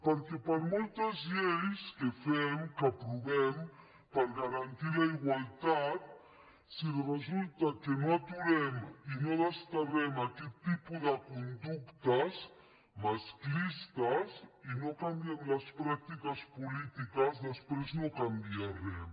perquè per moltes lleis que fem que aprovem per garantir la igualtat si resulta que no aturem i no desterrem aquest tipus de conductes masclistes i no canviem les pràctiques polítiques després no canvia res